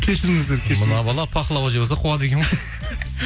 кешіріңіздер кешіріңіздер мына бала пахлава жеп алса қуады екен ғой